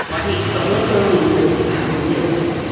смотрите с одной стороны никаких правил нет